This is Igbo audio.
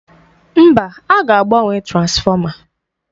Mba, aga agbanwe transfọma.